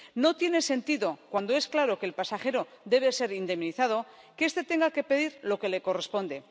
No tiene sentido, cuando es claro que el pasajero debe ser indemnizado, que este tenga que pedir lo que le corresponde.